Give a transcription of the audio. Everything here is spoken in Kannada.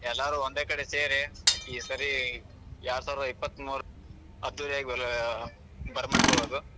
ಎಲ್ಲಾರು ಒಂದೇ ಕಡೆ ಸೇರಿ ಈ ಸರಿ ಎರಡ್ಸಾವಿರದ ಇಪ್ಪತ್ಮೂರು ಅದ್ದೂರಿಯಾಗಿ ಬರ~ ಬರಮಾಡ್ಕೋಳೋದು.